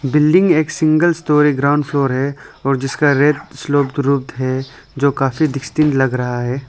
Building एक single story ground floor है और जिसका रेट है जो काफी डस्टिंग लग रहा है।